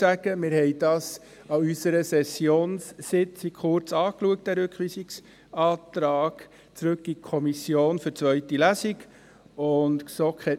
An unserer Kommissionssitzung während der Session schauten wir diesen Rückweisungsantrag in Kommission für die zweite Lesung kurz an.